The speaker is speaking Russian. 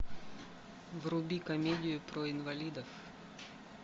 вруби комедию про инвалидов